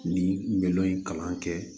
Ni n bɛ dɔ in kalan kɛ